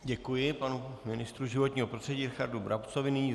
Děkuji panu ministru životního prostředí Richardu Brabcovi.